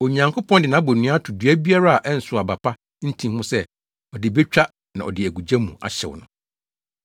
Onyankopɔn de nʼabonnua ato dua biara a ɛnsow aba pa ntin ho sɛ ɔde betwa na ɔde agu gya mu ahyew no.”